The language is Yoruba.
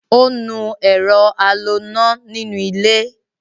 Ó nu ẹ̀rọ a lo ná inú ilé